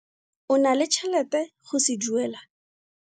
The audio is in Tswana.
O na le tšhelete go se duela?